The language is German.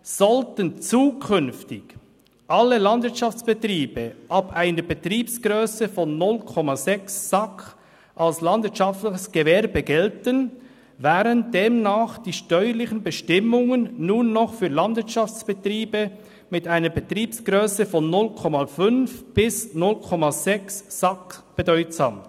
«Sollten zukünftig alle Landwirtschaftsbetriebe ab einer Betriebsgrösse von 0,6 SAK als landwirtschaftliches Gewerbe gelten, wären demnach die steuerlichen Bestimmungen nur noch für Landwirtschaftsbetriebe mit einer Betriebsgrösse von 0,5 bis 0,6 SAK bedeutsam.